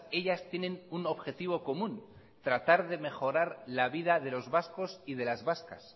ellas tienen un objetivo común tratar de mejorar la vida de los vascos y de las vascas